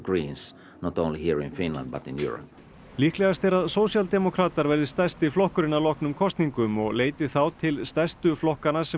líklegast er að sósíaldemókratar verði stærsti flokkurinn að loknum kosningum og leiti þá til stærstu flokkanna sem